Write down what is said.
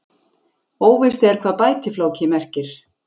Óvíst er hvað bætifláki merkir.